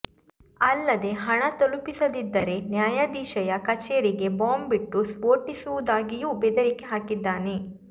ಅಲ್ಲದೆ ಹಣ ತಲುಪಿಸದಿದ್ದರೆ ನ್ಯಾಯಾಧೀಶೆಯ ಕಚೇರಿಗೆ ಬಾಂಬ್ ಇಟ್ಟು ಸ್ಫೋಟಿಸುವುದಾಗಿಯೂ ಬೆದರಿಕೆ ಹಾಕಿದ್ದಾನೆ